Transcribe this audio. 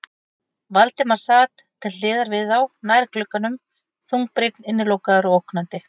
Valdimar sat til hliðar við þá, nær glugganum, þungbrýnn, innilokaður og ógnandi.